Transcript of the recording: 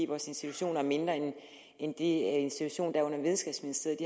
vores institutioner er mindre end de institutioner der er under videnskabsministeriet